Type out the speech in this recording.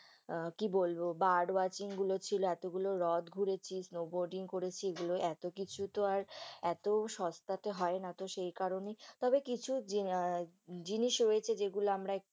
আহ কি বলবো bird watching গুলো ছিল, এতগুলো হ্রদ ঘুরেছি snow boating করেছি, এগুলো এতকিছু তো আর, এত সস্তাতে হয় না, তো সেই কারণেই তবে কিছু আহ জিনিস রয়েছে যেগুলো আমরা একটু